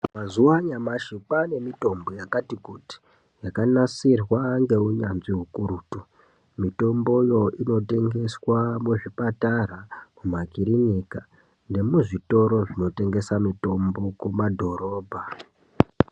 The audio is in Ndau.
Mazuva anyamashi kwane mitombo yakati kuti yakanasirwa ngeunyatsvi ukurutu mitomboyo inotengeswe muzvipatara nemumakilinika nemuzvitoro zvinotengesa mitombo kumadhorobha.